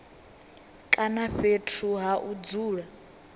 kana fhethu ha u dzula